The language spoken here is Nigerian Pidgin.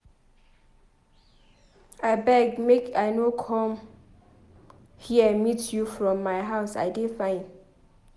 I beg make I no come here meet you from my house. I dey fine.